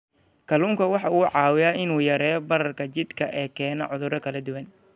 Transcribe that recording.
Kalluunku waxa uu caawiyaa in uu yareeyo bararka jidhka ee keena cudurro kala duwan.